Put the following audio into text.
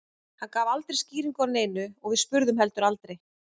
Hann gaf aldrei skýringu á neinu og við spurðum heldur aldrei.